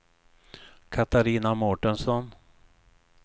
Catarina Mårtensson